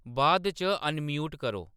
बाद च अनम्यूट करो